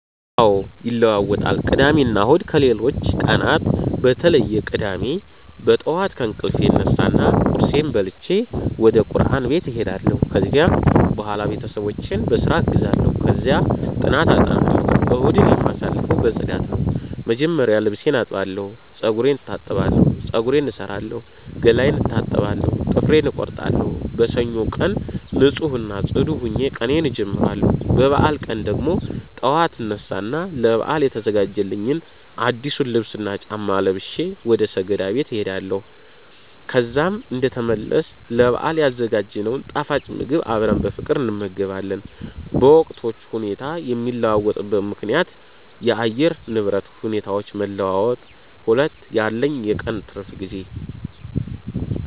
አዎ ይለዋወጣል ቅዳሜና እሁድ ከሌሎቹ ቀናት በተለየ ቅዳሜ በጠዋት ከእንቅልፌ እነሳና ቁርሴን በልቼ ወደቁርአን ቤት እሄዳለሁ፤ ከዚያም በኋላ ቤተሰቦቼን በስራ አግዛለሁ፣ ከዚያ ጥናት አጠናለሁ። እሁድን የማሳልፈው በፅዳት ነው፣ መጀመሪያ ልብሴን አጥባለሁ፤ ጸጉሬን እታጠባለሁ፤ ፀጉሬን እሠራለሁ፣ ገላዬን እታጠባለሁ፣ ጥፍሬን እቆርጣለሁ። በሰኞው ቀን ንፁህ እና ጽዱ ሆኜ ቀኔን አጀምራለሁ። በበዓል ቀን ደግሞ ጠዋት አነሳ እና ለበዓል የተገዛልኝን አዲሱን ልብስና ጫማ ለብሼ ወደ ሰገዳ ቦታ እሄዳለሁ። ከዛም እንደተመለስ ለበአል ያዘጋጀነውን ጣፋጭ ምግብ አብረን በፍቅር እንመገባለን። በወቅቶቹ ሁኔታ የሚለዋወጥበት ምከንያት 1. የአየር ንብረት ሁኔታዎች መለዋወጥ 2. ያለኝ የቀን ትርፍ ጊዜ